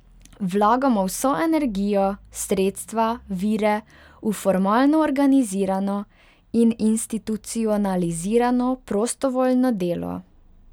Vlagamo vso energijo, sredstva, vire v formalno organizirano in institucionalizirano prostovoljno delo.